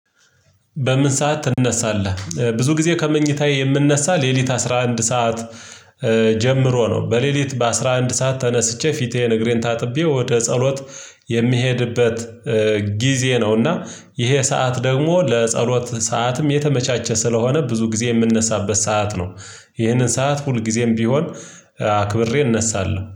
በምን ሰዓት ትነሳለህ? ብዙ ጊዜ ከመኝታዬ የምንነሳ ሌሊት አስራ አንድ ሰዓት ጀምሮ ነው። በሌሊት በአሥራ አንድ ሰዓት ተነስቼ ፊቴ ንግሬን ታጥቤ ወደ ጸሎት የምሄድበት ነው። እና ይሄ ሰዓት ደግሞ ለጸሎት ሰዓትም የተመቻቸ ስለሆነ ብዙ ጊዜ የምንነሳበት ሰዓት ነው። ይህንን ሰዓት ሁልጊዜም ቢሆን አክብሬ እነሳለሁ